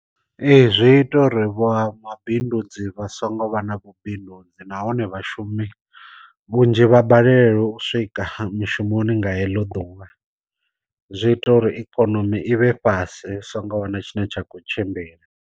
Ee zwi ita uri vha mabindudzi vha songo vha na vhubindudzi nahone vhashumi vhunzhi vha balelwe u swika mushumoni nga heḽo ḓuvha, zwi ita uri ikonomi i vhe fhasi hu songo wana tshine tsha kho tshimbila.